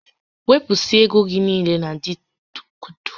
Wepụsịa égo gị niile na Bitkọịn!